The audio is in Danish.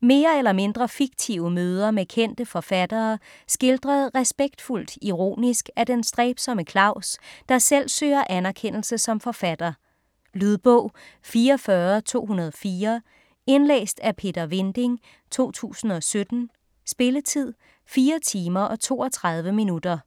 Mere eller mindre fiktive møder med kendte forfattere, skildret respektfuldt ironisk af den stræbsomme Claus, der selv søger anerkendelse som forfatter. Lydbog 44204 Indlæst af Peter Vinding, 2017. Spilletid: 4 timer, 32 minutter.